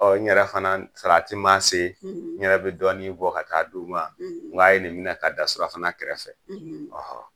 Ɔn n yɛrɛ fana salati maa se, n yɛrɛ bi dɔɔni bɔ ka taa di u ma n go a ye nin minɛ ka da surafana kɛrɛfɛ ɔhɔn.